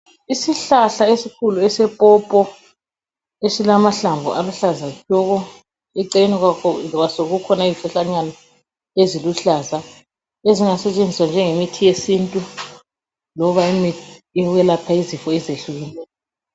Izihlahla esikhulu esepopo esilamahlamvu aluhlaza tshoko. Eceleni kwaso kukhona izihlahlanyana eziluhlaza ezingasetshenziswa njengemithi yesintu loba imithi yokwelapha izifo ezehlukeneyo.